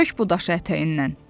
Tök bu daşı ətəyindən.